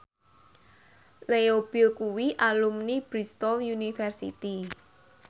Leo Bill kuwi alumni Bristol university